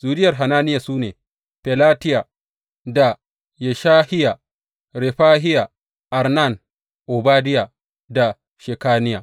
Zuriyar Hananiya su ne, Felatiya da Yeshahiya, Refahiya, Arnan, Obadiya da Shekaniya.